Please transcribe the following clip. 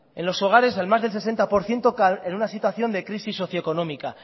en los hogares en más de sesenta por ciento en una situación de crisis socioeconómica